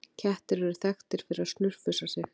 Kettir eru þekktir fyrir að snurfusa sig.